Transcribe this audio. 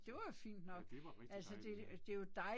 Ja det var rigtig dejligt ja